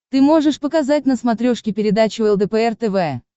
ты можешь показать на смотрешке передачу лдпр тв